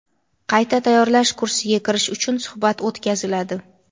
Qayta tayyorlash kursiga kirish uchun suhbat o‘tkaziladi.